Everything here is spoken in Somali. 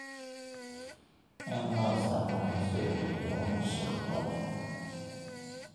in loo isticmaalo sidii xayawaan shaqo.